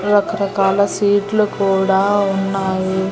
రకరకాల స్వీట్లు కూడా ఉన్నాయి.